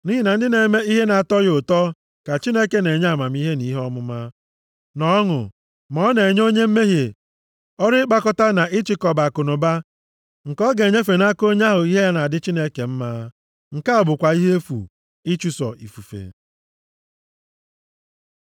Nʼihi na ndị na-eme ihe na-atọ ya ụtọ, ka Chineke na-enye amamihe na ihe ọmụma, na ọṅụ; ma ọ na-enye onye mmehie ọrụ ịkpakọta na ịchịkọba akụnụba nke ọ ga-enyefe nʼaka onye ahụ ihe ya dị Chineke mma. Nke a bụkwa ihe efu; ịchụso ifufe.